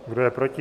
Kdo je proti?